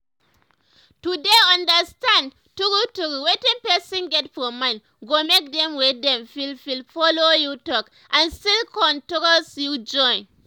to dey understand true true wetin person get for mind go make dem wey dem feel free follow you talk and still con trust you join.